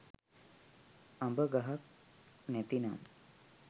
අඹ ගහක් නැතිනම්